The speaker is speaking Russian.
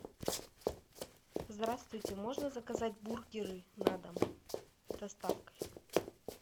здравствуйте можно заказать бургеры на дом с доставкой